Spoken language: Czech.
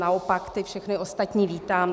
Naopak ty všechny ostatní vítám.